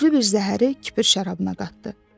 Güclü bir zəhəri kipir şərabına qatdı.